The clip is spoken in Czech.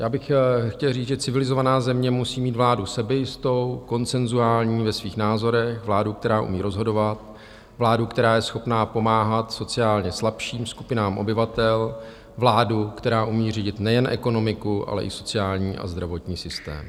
Já bych chtěl říct, že civilizovaná země musí mít vládu sebejistou, konsenzuální ve svých názorech, vládu, která umí rozhodovat, vládu, která je schopná pomáhat sociálně slabším skupinám obyvatel, vládu, která umí řídit nejen ekonomiku, ale i sociální a zdravotní systém.